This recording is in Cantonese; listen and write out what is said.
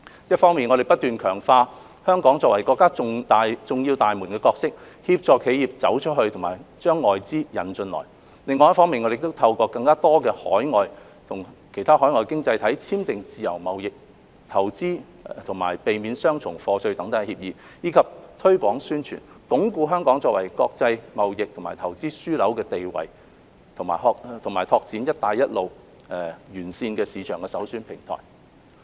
一方面，我們不斷強化香港作為國家重要大門的角色，協助企業"走出去"和把外資"引進來"；另一方面，我們透過與更多其他海外經濟體簽訂自由貿易、投資及避免雙重課稅等協議，以及推廣、宣傳，鞏固香港作為國際貿易及投資樞紐的地位及開展"一帶一路"沿線市場的首選平台。